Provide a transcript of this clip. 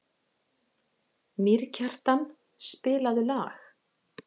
Mýrkjartan, spilaðu lag.